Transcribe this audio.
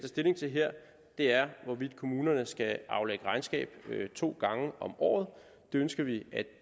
stilling til her er hvorvidt kommunerne skal aflægge regnskab to gange om året det ønsker vi